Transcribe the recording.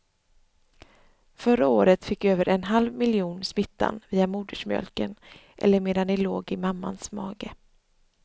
Förra året fick över en halv miljon smittan via modersmjölken eller medan de låg i mammans mage.